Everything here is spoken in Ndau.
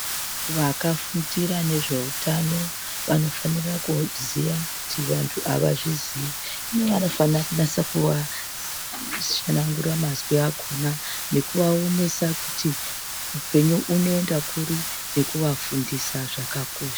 Vakafundira nezveutano vanofanira kuziya kuti vantu avazviziyi uye vanofana kunasa kutsanangura mazwi akona nekuvawonesa kuti upenyu enoenda kuri nekuvafundisa zvakakosha.